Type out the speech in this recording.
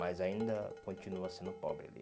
Mas ainda continua sendo pobre ali.